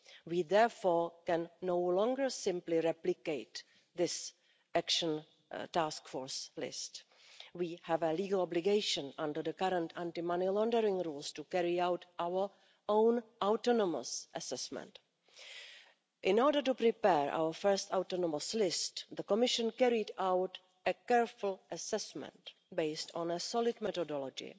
We, therefore, can no longer simply replicate this Action Task Force list. We have a legal obligation under the current anti-money laundering rules to carry out our own autonomous assessment. In order to prepare our first autonomous list, the Commission carried out a careful assessment, based on a solid methodology,